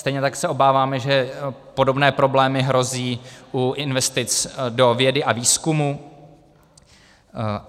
Stejně tak se obáváme, že podobně problémy hrozí u investic do vědy a výzkumu.